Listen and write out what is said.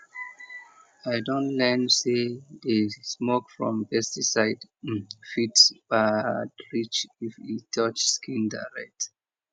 i don learn say the smoke from pesticide um fit bad reach if e touch skin direct